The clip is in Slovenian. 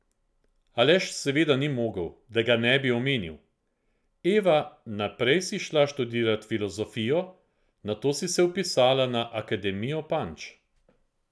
Aleš seveda ni mogel, da ga ne bi omenil: "Eva, najprej si šla študirat filozofijo, nato si se vpisala na Akademijo Panč.